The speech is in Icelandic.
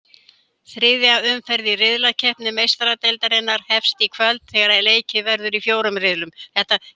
Þriðja umferð riðlakeppni Meistaradeildarinnar hefst í kvöld þegar leikið verður í fjórum riðlum.